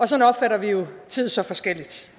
sådan opfatter vi jo tid så forskelligt